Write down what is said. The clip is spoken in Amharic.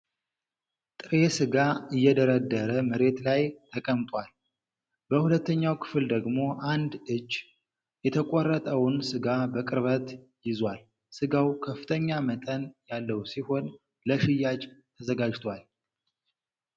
ጥሬ ሥጋ እየደረደረ መሬት ላይ ተቀምጧል። በሁለተኛው ክፍል ደግሞ አንድ እጅ የተቆረጠውን ሥጋ በቅርበት ይዟል። ሥጋው ከፍተኛ መጠን ያለው ሲሆን ለሽያጭ ተዘጋጅቷል።